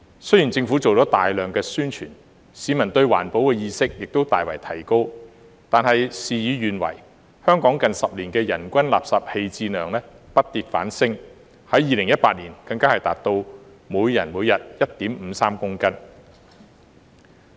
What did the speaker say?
雖然政府做了大量宣傳，市民的環保意識亦大為提高，但事與願違，香港近10年的人均垃圾棄置量不跌反升，在2018年更達到每人每日 1.53 公斤。